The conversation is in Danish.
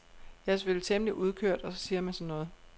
Jeg er selvfølgelig temmelig udkørt og så siger man sådan noget.